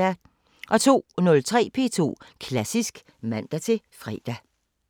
02:03: P2 Klassisk (man-fre)